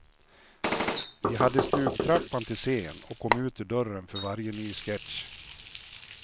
Vi hade stugtrappan till scen och kom ut ur dörren för varje ny sketch.